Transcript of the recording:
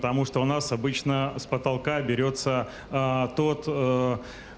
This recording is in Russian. тому что у нас обычно с потолка берётся тот